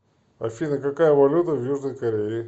афина какая валюта в южной корее